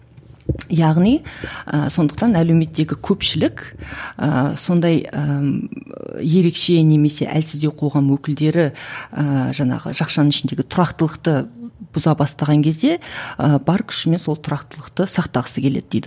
яғни ыыы сондықтан әлеуметтегі көпшілік ыыы сондай ыыы ерекше немесе әлсіздеу қоғам өкілдері ыыы жаңағы жақшаның ішіндегі тұрақтылықты бұза бастаған кезде ы бар күшімен сол тұрақтылықты сақтағысы келеді дейді